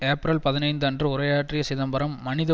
ஏப்பிரல் பதினைந்து அன்று உரையாற்றிய சிதம்பரம் மனித